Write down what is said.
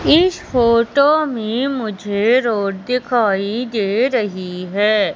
इस फोटो में मुझे रोड दिखाई दे रही है।